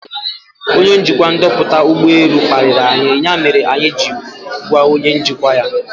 Ọnye njikwa ndoputa ụgbọ elu kpariri anyi ya mere anyị jiri gwa onye njikwa ya.